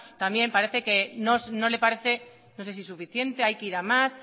también parece que no le parece no sé si suficiente hay que ir a más